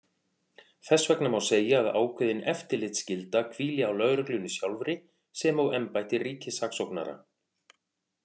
Þess vegna má segja að ákveðin eftirlitsskylda hvíli á lögreglunni sjálfri sem og embætti ríkissaksóknara.